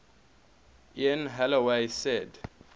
ian holloway said